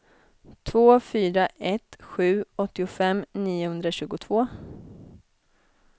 två fyra ett sju åttiofem niohundratjugotvå